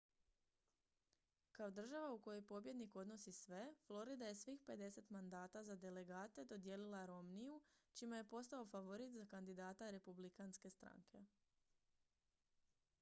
kao država u kojoj pobjednik odnosi sve florida je svih pedeset mandata za delegate dodijelila romneyu čime je postao favorit za kandidata republikanske stranke